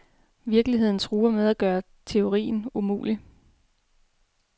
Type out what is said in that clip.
Virkeligheden truer med at gøre teorien umulig.